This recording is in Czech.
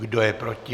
Kdo je proti?